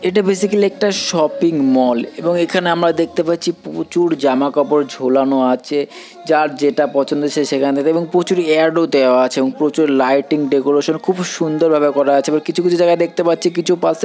এটা বেসিক্যালি একটা shopping mall এবং এখানে আমরা দেখতে পাচ্ছি প্রচুর জামা কাপড় ঝোলানো আছে যার যেটা পছন্দ সে সেখান থেকে এবং প্রচুর অ্যাড ও দেওয়া আছে এবং প্রচুর লাইটিং ডেকোরেশন খুব সুন্দর ভাবে করা আছে এবার কিছু কিছু জায়গায় দেখতে পাচ্ছি কিছু পাশে--